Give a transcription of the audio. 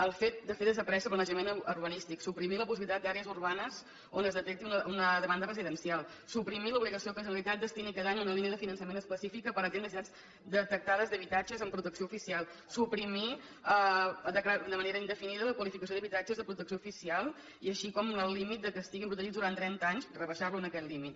el fet de fer desaparèixer planejament urbanístic suprimir la possibilitat d’àrees urbanes on es detecti una demanda residencial suprimir l’obligació que la generalitat destini cada any una línia de finançament específica per atendre necessitats detectades d’habitatge en protecció oficial suprimir de manera indefinida la qualificació d’habitatges de protecció oficial així com el límit que estiguin protegits durant trenta anys rebaixar lo aquest límit